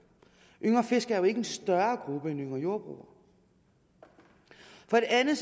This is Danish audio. yngre fiskere er jo ikke en større gruppe end yngre jordbrugere for det andet